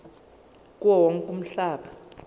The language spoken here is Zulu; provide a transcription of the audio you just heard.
kuwo wonke umhlaba